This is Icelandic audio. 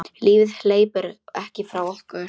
Lífið hleypur ekki frá okkur.